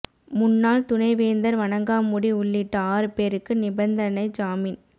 முன்னாள் துணை வேந்தர் வணங்காமுடி உள்ளிட்ட ஆறு பேருக்கு நிபந்தனை ஜாமின்